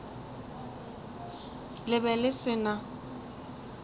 le be le se na